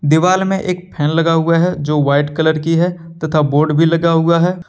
दीवाल मे एक फैन लगा हुआ है जो व्हाइट कलर की है तथा बोर्ड भी लगा हुआ है।